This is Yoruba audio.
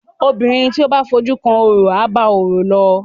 obìrin to bá fojú kan ọrọ aba ọrọ ló.